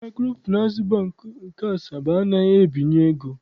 Maịkrofịnansị Bankị nke Asaba anaghịzi ebinye ego